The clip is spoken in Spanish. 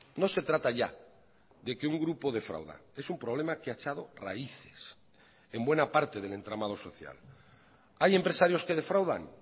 no se trata ya de que un grupo defrauda es un problema que ha echado raíces en buena parte del entramado social hay empresarios que defraudan